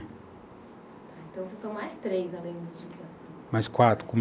Então, vocês são mais três, além dos de criação, mais quatro.